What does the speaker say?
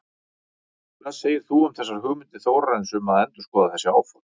Hvað segir þú um þessar hugmyndir Þórarins um að endurskoða þessi áform?